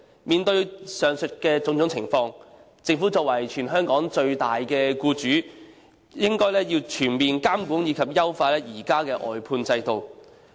面對上述種種情況，政府作為全港最大的僱主，應全面監管及優化現時的外判制度。